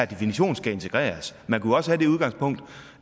definition skal integreres man kunne også have det udgangspunkt